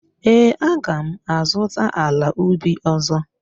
Ee, aga m azụta ala ubi ọzọ.